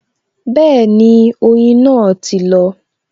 Bẹẹni, oyin náà ti lọ